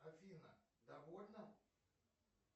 афина довольна